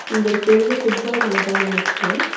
இங்க ஒரு பெரிய ஃபுட்பால் மைதானம் இருக்கு.